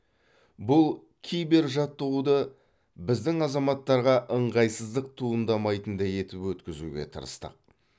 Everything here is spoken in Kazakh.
бұл кибер жаттығуды біздің азаматтарға ыңғайсыздық туындамайтындай етіп өткізуге тырыстық